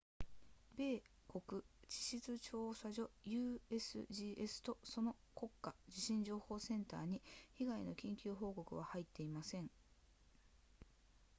米国地質調査所 usgs とその国家地震情報センターに被害の緊急報告は入っていません